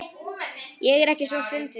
Ég er ekki svo fundvís